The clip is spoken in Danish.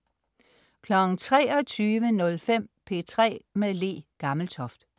23.05 P3 med Le Gammeltoft